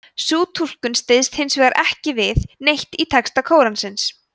sú túlkun styðst hins vegar ekki við neitt í texta kóransins